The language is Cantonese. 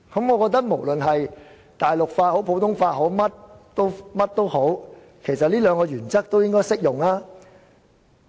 我認為無論是大陸法也好，普通法也好，其實這兩項原則均適用。